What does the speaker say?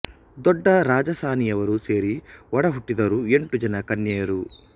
ದೊಡ್ಡ ರಾಜಾಸಾನಿಯವರು ಸೇರಿ ಒಡ ಹುಟ್ಟಿದವರು ಎಂಟು ಜನ ಕನ್ಯೆಯರು